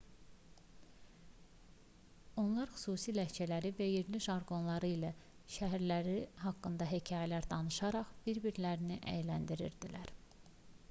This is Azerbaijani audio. onlar xüsusi ləhcələri və yerli jarqonları ilə şəhərləri haqqında hekayələr danışaraq bir-birlərini əyləndirirlər